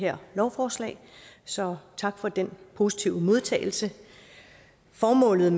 her lovforslag så tak for den positive modtagelse formålet